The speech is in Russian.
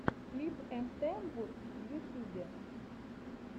клип эмтээмвуд в ютюбе